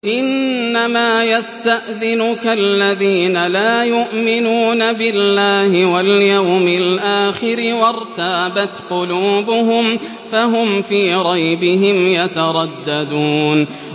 إِنَّمَا يَسْتَأْذِنُكَ الَّذِينَ لَا يُؤْمِنُونَ بِاللَّهِ وَالْيَوْمِ الْآخِرِ وَارْتَابَتْ قُلُوبُهُمْ فَهُمْ فِي رَيْبِهِمْ يَتَرَدَّدُونَ